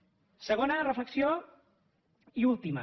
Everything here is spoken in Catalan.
segona reflexió i última